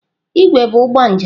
Igwe bụ ụgbọ njem.